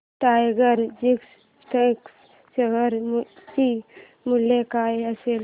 tiger Logistics share चे मूल्य काय असेल